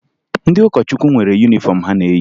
Ndị ụkọchukwu nwere yunifọmụ ha na-eyi